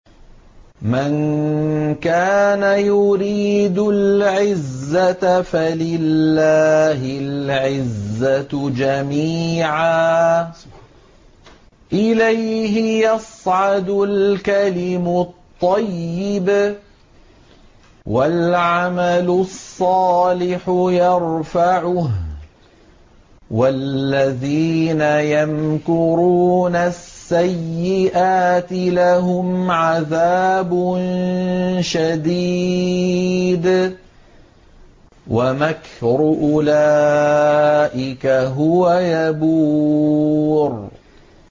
مَن كَانَ يُرِيدُ الْعِزَّةَ فَلِلَّهِ الْعِزَّةُ جَمِيعًا ۚ إِلَيْهِ يَصْعَدُ الْكَلِمُ الطَّيِّبُ وَالْعَمَلُ الصَّالِحُ يَرْفَعُهُ ۚ وَالَّذِينَ يَمْكُرُونَ السَّيِّئَاتِ لَهُمْ عَذَابٌ شَدِيدٌ ۖ وَمَكْرُ أُولَٰئِكَ هُوَ يَبُورُ